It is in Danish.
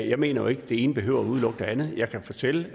jeg mener jo ikke det ene behøver at udelukke det andet jeg kan fortælle